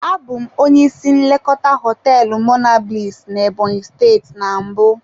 Abụ m onye isi nlekọta hoteelu monablis na Ebonyi steeti na mbụ.